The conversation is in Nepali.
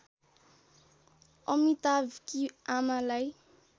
अमिताभकी आमालाई